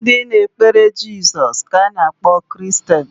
Ndị na-ekpere jesus ka a na akpọ Kiristeni